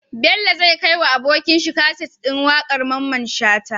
Bello zai kai wa abokin shi kaset din waƙar mamman shata